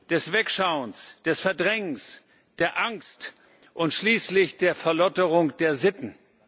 des Wegschauens, des Verdrängens, der Angst und schließlich der Verlotterung der Sitten.